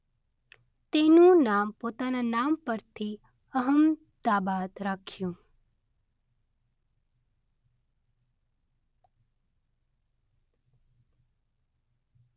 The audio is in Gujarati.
તેનું નામ પોતાના નામ પરથી 'અહમદાબાદ' રાખ્યું.